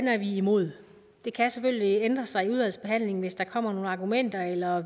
er vi imod det kan selvfølgelig ændre sig i udvalgsbehandlingen hvis der kommer nogle argumenter eller